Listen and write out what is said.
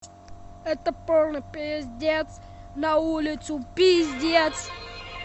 это полный пиздец на улицу пиздец